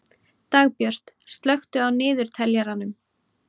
Dagbjörg, slökktu á niðurteljaranum.